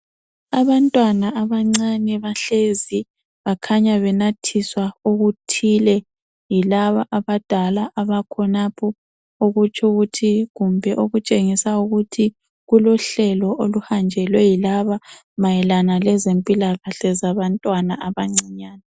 Abantwana abancane bahlezi bakhanya benathiswa okuthile yilaba abadala abakhonapho okutsho ukuthi kumbe kulohlelo oluhanjelwe yilaba mayelana labantwana abancinyane .